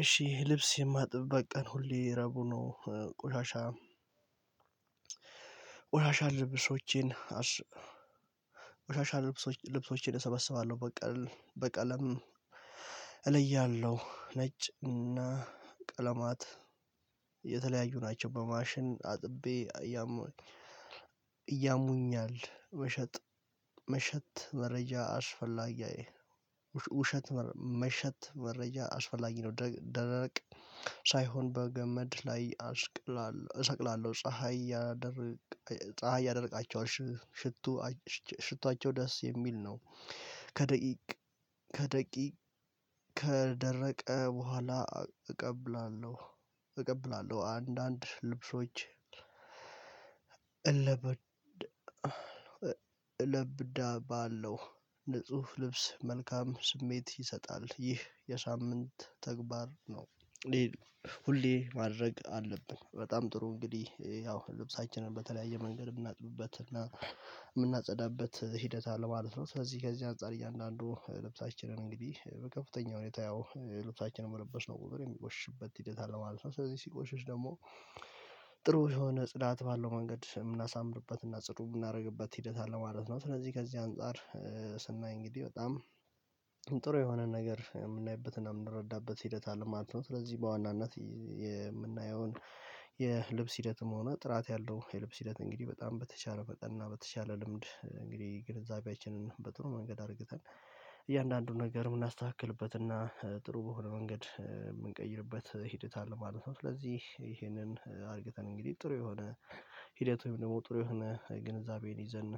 እሺ ይሄ ልብስ የማጥብበት ቀን ሁሌ ረቡዕ ነው ቆሻሻ። ቆሻሻ ልብሶቼን አስ ቆሻሻ ልብሶቼን እሰበስባለሁ በቀል በቀለም እለያለሁ። ነጭ እና ቀለማት የተለያዩ ናቸው በማሽን አጥቤ እያሙኝ እያሙኛል መሸጥ መሸት መረጃ አስፈላጊ አየህ ውሸት መሸት መረጃ አስፈላጊ ነው። ደረቅ ሳይሆን በገመድ ላይ አስቅላለሁ እሰቅላለሁ ፀሀይ ያደርቃቸዋል ሽቶ ሽቶአቸው ደስ የሚል ነው። ከደቂቅ ከደቂቅ ከደረቀ በኋላ እቀበላለሁ። እቀበላለሁ አንዳንድ ልብሶች እለበድ ለብዳባለሁ ንጹህ ልብስ መልካም ስሜት ይሰጣል ይህ የሳምንት ተግባር ነው። ሁሌ ማድረግ አለብን በጣም ጥሩ እንግዲህ ያው ልብሳችንን በተለያየ መንገድ የምናጥብበትና የምናጸዳበት ሂደት አለ ማለት ነው። ስለዚህ ከዚህ አንፃር እያንዳንዱ ልብሳችንን እንግዲህ በከፍተኛ ሁኔታ ያው ልብሳችንን መለበስነው ቁጥር የሚቆሽሽበት ሂደት አለ ማለት ነው። ስለዚህ ሲቆሽሽ ደግሞ ጥሩ የሆነ ጽዳት ባለው መንገድ የምናሳምርበትና ጽዱ የምናደርግበት ሂደት አለ ማለት ነው። ስለዚህ ከዚህ አንፃር ስናይ እንግዲህ በጣም ጥሩ የሆነ ነገር የምናይበትና የምንረዳበት ሂደት አለ ማለት ነው። ስለዚህ በዋናነት የምናየውን የልብስ ሂደትም ሆነ ጥራት ያለው የልብስ ሂደት እንግዲህ በጣም በተቻለ መጠን እና በተቻለ ልምድ እንግዲህ ግንዛቤያችንን በጥሩ መንገድ አርግተን እያንዳንዱን ነገር የምናስተካክልበትና ጥሩ በሆነ መንገድ የምንቀይርበት ሂደት አለ ማለት ነው። ስለዚህ ይሄንን አድርገን እንግዲህ ጥሩ የሆነ ሂደቱም ደግሞ ጥሩ የሆነ ግንዛቤን ይዘን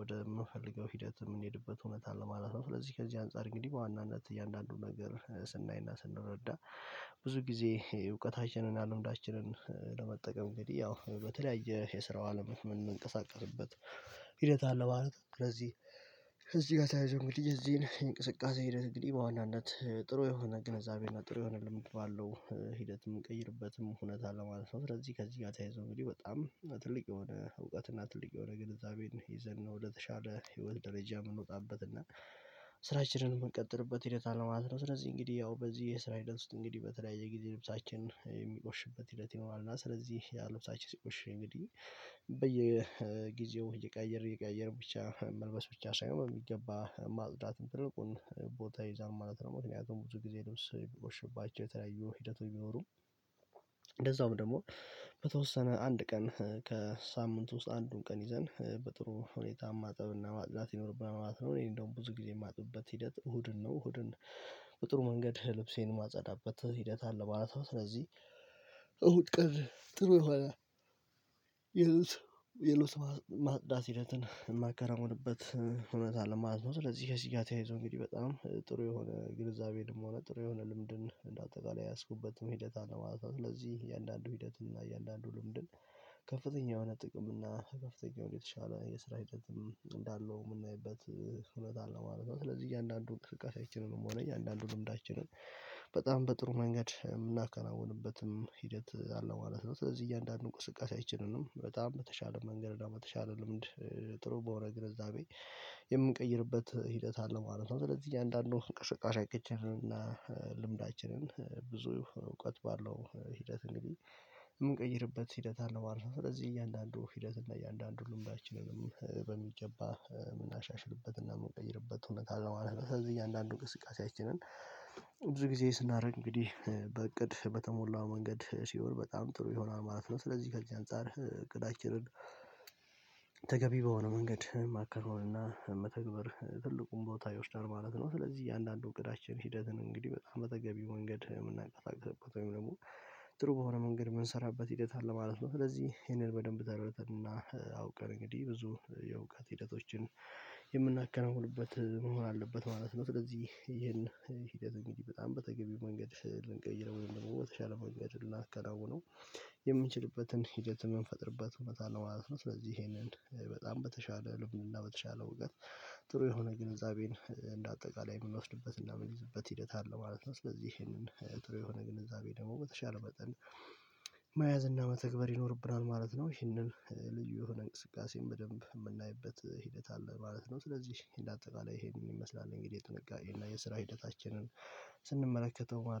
ወደምንፈልገው ሂደት የምንሄድበት እውነት አለ ማለት ነው። ስለዚህ ከዚህ አንፃር እንግዲህ በዋናነት እያንዳንዱን ነገር ስናይና ስንረዳ ጊዜ እውቀታችንን እና ልምዳችንን ለመጠቀም እንግዲህ ያው በተለያየ የስራው አለም ምንንቀሳቀስበት ሂደት አለ ማለት ነው። ለዚህ ከእዚህ ጋር ተያይዞ እንግዲህ ያዚህን እንቅስቃሴ ሂደት እንግዲህ በዋናነት ጥሩ የሆነ ግንዛቤና ጥሩ የሆነ ልምድ ባለው ሂደት የምንቀይርበትም እውነት አለ ማለት ነው። ስለዚህ ከዚህ ጋር ተያይዞ እንግዲህ በጣም ትልቅ የሆነ እውቀትና ትልቅ የሆነ ግንዛቤን ይዘን ነው ወደተሻለ ህይወት ደረጃ የምንወጣበት እና ስራችንን የምንቀጥልበት ሂደት አለ ማለት ነው። ስለዚህ እንግዲህ ያው በዚህ የስራ ሂደት ውስጥ እንግዲህ በተለያየ ጊዜ ልብሳችን የሚቆሽበት ሂደት ይኖራል እና ስለዚህ ልብሳችን ሲቆሽ እንግዲህ በየጊዜው እየቀያየርን እየቀያየርን ብቻ መልበስ ብቻ ሳይሆን ባሚገባ ማጽዳት ትልቁን ቦታ ይዛል ማለት ነው። ምክንያቱም ብዙ ጊዜ ልብስ የሚቆሽሽባቸው የተለያዩ ሂደቶች ቢኖሩም እንደዛውም ደግሞ በተወሰነ አንድ ቀን ከሳምንት ውስጥ አንዱን ቀን ይዘን በጥሩ ሁኔታ ማጠብና ማጥዳት ይኖርብናል ማለት ነው። እኔ እንደውም ብዙ እኔ የማጥብበት ሂደት እሁድን ነው እሁድን በጥሩ መንገድ ልብሴን ማጸዳበት ሂደት አለ ማለት ነው። ስለዚህ እሁድ ቀን ጥሩ የሆነ የልብስ ማጥዳት ሂደትን የማከናውንበት እውነት አለ ማለት ነው። ስለዚህ ከዚህ ጋር ተያይዞ እንግዲህ በጣም ጥሩ የሆነ ግንዛቤንም ሆነ ጥሩ የሆነ ልምድን እንደ አጠቃላይ የያዝኩበትም ሂደት አለ ማለት ነው። ስለዚህ እያንዳንዱ ሂደትና እያንዳንዱ ልምድን ከፍተኛ የሆነ ጥቅም እና ከፍተኛ የሆነ የተሻለ የስራ ሂደትም እንዳለው የምናይበት እውነት አለ ማለት ነው። ስለዚህ እያንዳንዱን እንቅስቃሴያችንንም ሆነኝ እያንዳንዱን ልምዳችንን በጣም በጥሩ መንገድ የምናከናውንበትም ሂደት አለው ማለት ነው። ስለዚህ እያንዳንዱ እንቅስቃሴአችንንም በጣም በተሻለ መንገድ እና በተሻለ ልምድ ጥሩ በሆነ ግንዛቤ የምንቀይርበት ሂደት አለ ማለት ነው። ስለዚህ እያንዳንዱ እንቅስቃሴአችንን ልምዳችንን ብዙ እውቀት ባለው ሂደት እንግዲህ የምንቀይርበት ሂደት አለ ነው ማለት ነው። ስለዚህ እያንዳንዱ ሂደት እና እያንዳንዱ ልምዳችንን በሚገባ የምናሻሽልበትና የምንቀይርበት እውነት አለው ማለት ነው። ስለዚህ እያንዳንዱ እንቅስቃሴያችንን ብዙ ጊዜ ስናደርግ እንግዲህ በእቅድ በተሞላ መንገድ ሲሆን በጣም ጥሩ ይሆናል ማለት ነው። ስለዚህ ከዚህ አንፃር እቅዳችንን ተገቢ በሆነ መንገድ ማከናወን እና መተግበር ትልቁን ቦታ ይወስዳል ማለት ነው። ስለዚህ እያንዳንዱ እውቀታችን ሂደትን እንግዲህ በጣም በተገቢው መንገድ የምናቀላጥፍበት ወይም ደግሞ ጥሩ በሆነ መንገድ የምንሰራበት ሂደት አለ ማለት ነው። ስለዚህ ይሄንን በደንብ ተረድተንና አውቀን እንግዲህ ብዙ የእውቀት ሂደቶችን የምናከናውንበት መሆን አለበት ማለት ነው። ስለዚህ ይሄን ሂደት እንግዲህ በጣም በተገቢው መንገድ ልንቀይረው ወይም ደግሞ በተሻለ መንገድ ልናከናውነው የምንችልበትን ሂደት የምንፈጥርበት እውነት አለው ማለት ነው። ስለዚህ ይሄንን በጣም በተሻለ ልብንና በተሻለ እውቀት ጥሩ የሆነ ግንዛቤን እንደ አጠቃላይ የምንወስድበት እና የምንይዝበት ሂደት አለ ማለት ነው። ስለዚህ ይሄንን ጥሩ የሆነ ግንዛቤ ደግሞ በተሻለ መጠን መያዝ እና መተግበር ይኖርብናል ማለት ነው። ይህንን ልዩ የሆነ እንቅስቃሴን በደንብ የምናይበት ሂደት አለ ማለት ነው። ስለዚህ እንደ አጠቃላይ ይሄንን ይመስላል እንግዲህ ጥንቃቄ እና የስራ ሂደታችንን ስንመለከተው ማለት ነው